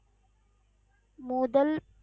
மொதல்